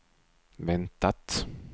väntat